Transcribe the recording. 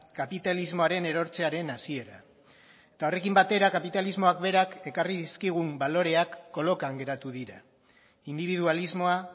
kapitalismoaren erortzearen hasiera eta horrekin batera kapitalismoak berak ekarri dizkigun baloreak kolokan geratu dira indibidualismoa